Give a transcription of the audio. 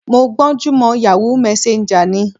Mo gbọ́n jú mọ Yahoo Messenger ni.